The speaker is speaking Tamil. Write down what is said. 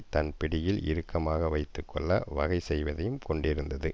தன் பிடியில் இறுக்கமாக வைத்து கொள்ள வகை செய்வதையும் கொண்டிருந்தது